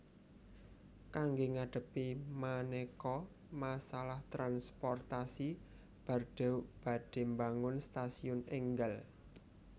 Kangge ngadhepi manéka masalah transportasi Bordeaux badhé mbangun stasiun énggal